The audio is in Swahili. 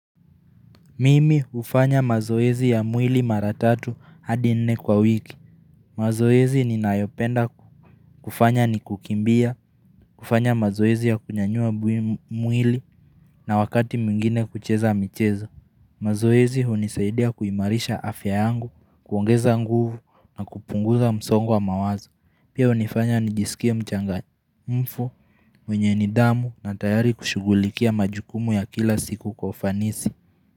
Mimi hufanya mazoezi ya mwili mara tatu hadi nne kwa wiki. Mazoezi ninayopenda kufanya ni kukimbia, kufanya mazoezi ya kunyanyua mwili na wakati mwingine kucheza michezo. Mazoezi hunisaidia kuimarisha afya yangu, kuongeza nguvu na kupunguza msongo mawazo. Pia hunifanya nijisikia mchangamfu mwenye nidhamu na tayari kushugulikia majukumu ya kila siku kwa ufanisi.